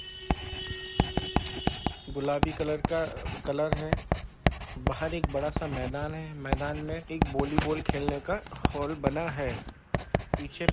गुलाबी कलर का कलर है बाहर एक बड़ा सा मैदान है मैदान में एक वॉलीबॉल खेलने का हॉल बना है पीछे --